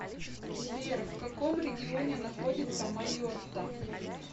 сбер в каком регионе находится майотта